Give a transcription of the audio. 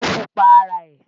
Mufu pa ara ẹ̀